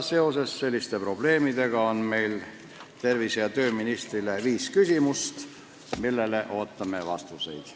Seoses selliste probleemidega on meil tervise- ja tööministrile viis küsimust, millele ootame vastuseid.